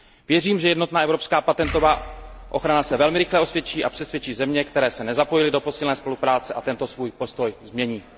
Věřím, že jednotná evropská patentová ochrana se velmi rychle osvědčí a přesvědčí země, které se nezapojily do posílené spolupráce, aby tento svůj postoj změnily.